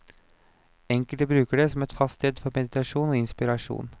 Enkelte bruker det som et fast sted for meditasjon og inspirasjon.